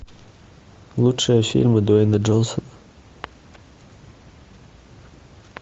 лучшие фильмы дуэйна джонсона